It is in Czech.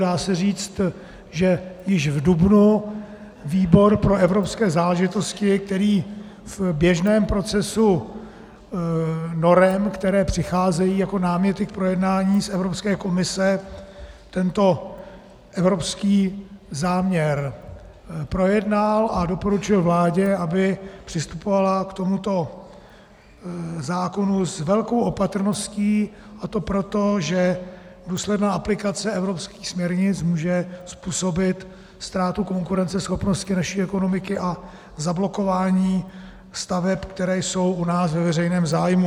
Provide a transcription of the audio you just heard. Dá se říct, že již v dubnu výbor pro evropské záležitosti, který v běžném procesu norem, které přicházejí jako náměty k projednání z Evropské komise, tento evropský záměr projednal a doporučil vládě, aby přistupovala k tomuto zákonu s velkou opatrností, a to proto, že důsledná aplikace evropských směrnic může způsobit ztrátu konkurenceschopnosti naší ekonomiky a zablokování staveb, které jsou u nás ve veřejném zájmu.